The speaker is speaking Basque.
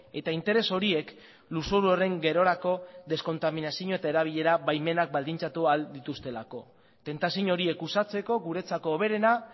eta interes horiek lurzoru horren gerorako deskontaminazioa eta erabilera baimenak baldintzatu ahal dituztelako tentazio horiek uxatzeko guretzako hoberena